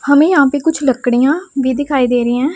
हमे यहां पे कुछ लकड़ियां भी दिखाई दे रही हैं।